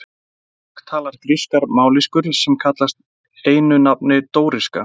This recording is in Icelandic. Þetta fólk talaði grískar mállýskur sem kallast einu nafni dóríska.